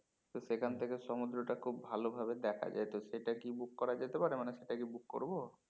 তো সেখান থেকে সমুদ্রটা খুব ভালো ভাবে দেখা যায় তো সেটা কি book করা যেতে পারে মানে সেটা কি book করবো?